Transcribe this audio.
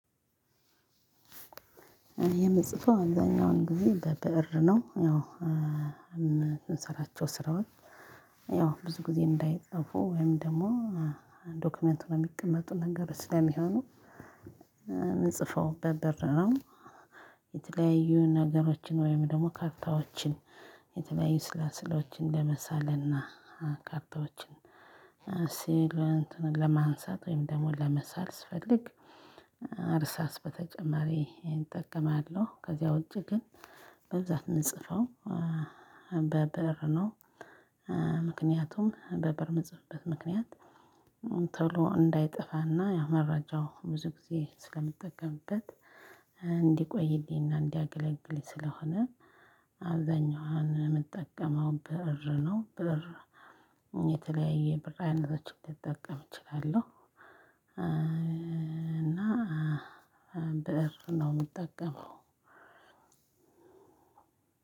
የምጽፏ አብዛኛውን ጊዜ በብእር ነው ያው የምትሰራቸው ስራውን ያው ብዙ ጊዜ እንዳይጽፉ ወይም ደግሞ ዶክመንት ሁነው የሚቀመጡ ነገር ስለሚሆኑ። ምን ጽፈው በብእር ነው? የተለያዩ ነገሮችን ወይም ደግሞ ካርታዎችን የተለያዩ ስላስሎችን ለመሳለን እና ካርታዎችን ሲል ለማንሳት ወይም ደግሞ ለመሳል ስፈልግ እርሳስ በተጨማሪ እጠቀማለሁ ከዚያ ውጪ ግን በዛት የምንጽፈው በበር ነው። ምክንያቱም በበር የምትጽፍበት ምክንያት ተሎ እንዳይጠፋና ያው መረጃው ብዙ ጊዜ ስለምጠቀምበት እንዲቆይልኝና እንዲያገለግልኝ ስለሆነ። አብዛኛዋን የምጠቀመው ብእር ነው። ብእር የተለያየ ብእር አይነቶች ልጠቀም እችላለሁ። እና ብእር ነው የምጠቀመው።